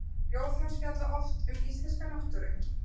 Ljóð hans fjalla oft um íslenska náttúru.